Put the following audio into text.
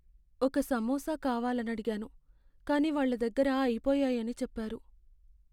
ఒక సమోసా కావాలనడిగాను, కానీ వాళ్ళ దగ్గర అయిపోయాయని చెప్పారు.